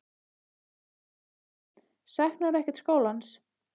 Eva Bergþóra: Saknarðu ekkert skólans?